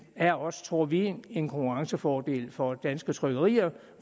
er også tror vi en konkurrencefordel for danske trykkerier